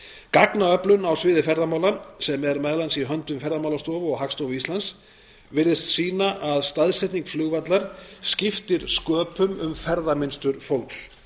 gagnaöflun á sviði ferðamála sem er meðal annars í höndum ferðamálastofu og hagstofu íslands virðist sýna að staðsetning flugvallar skiptir sköpum um ferðamynstur fólks